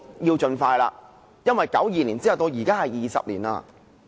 要盡快，因為1992年到現在，已20多年了。